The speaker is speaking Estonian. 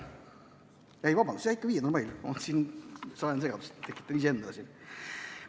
Ei, vabandust, ikka 5. mail, ma tekitan siin ise segadust.